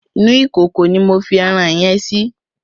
Inú ìkòkò ni mo ẹran yẹn sí.